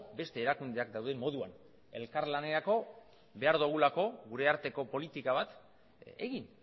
beste erakundeak dauden moduan elkarlanerako behar dugulako gure arteko politika bat egin